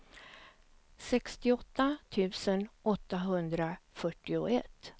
sextioåtta tusen åttahundrafyrtioett